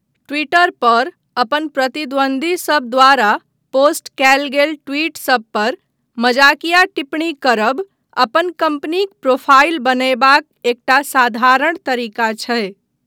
Twitter पर अपन प्रतिद्वन्द्वीसभ द्वारा पोस्ट कयल गेल ट्वीटसभ पर मजाकिया टिप्पणी करबा अपन कम्पनीक प्रोफाइल बनयबाक एकटा साधारण तरीका छै।